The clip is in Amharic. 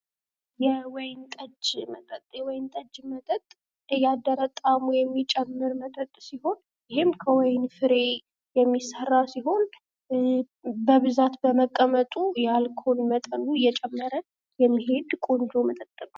የወይን ጠጅ መጠጥ የወይን ጠጅ መጠጥ እያደረ ጣዕሙ የሚጨምር መጠጥ ሲሆን ይህም ከወይን ፍሬ የሚሰራ ሲሆን በብዛት በመቀመጡ ያልቃል የአልኮል መጠኑ እየጨመረ የሚሄድ ቆንጆ መጠጥ ነው።